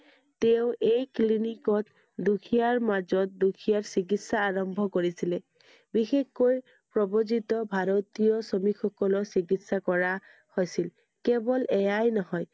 তেওঁ এই clinic ত দুখীয়াৰ মাজত দুখীয়াৰ চিকিৎসা আৰম্ভ কৰিছিলে বিশেষ কৈ প্ৰব্ৰজিত ভাৰতীয় শ্ৰমিক সকলক চিকিৎসা কৰা হৈছিল। কেৱল এয়াই নহয়